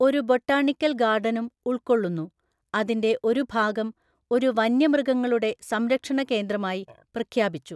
ഒരു ബൊട്ടാണിക്കൽ ഗാർഡനും ഉൾക്കൊള്ളുന്നു, അതിന്റെ ഒരു ഭാഗം ഒരു വന്യമൃഗങ്ങളുടെ സംരക്ഷണ കേന്ദ്രമായി പ്രഖ്യാപിച്ചു.